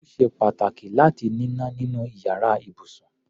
Ó ṣe pàtàkì láti níná nínú iyàrá ibùsùn.